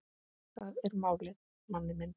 Það er málið, manni minn.